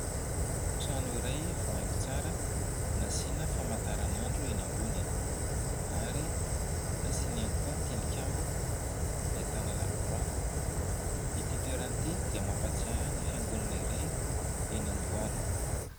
Trano iray voahaingo tsara, nasiana famantaranandro eny ambony ary nasiana ihany koa tilikambo ahitana lakoroa, ity toerana ity dia mampatsiahy ny fiangonana iray eny Andohalo.